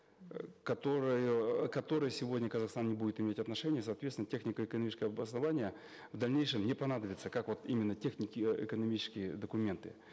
э которую э к которой сегодня казахстан не будет иметь отношения соответственно технико экономическое обоснование в дальнейшем не понадобится как вот именно технико экономические документы